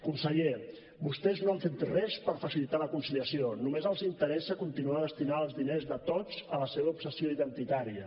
conseller vostès no han fet res per facilitar la conciliació només els interessa continuar destinant els diners de tots a la seva obsessió identitària